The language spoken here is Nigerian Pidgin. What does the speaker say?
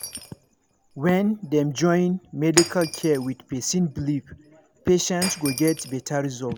when dem join medical care with person believe patient go get better result